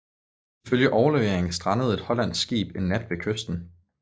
Ifølge overleveringen strandede et hollandsk skib en nat ved kysten